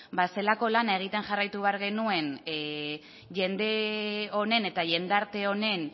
ba zelako lana egiten jarraitu behar genuen jende honen eta jendarte honen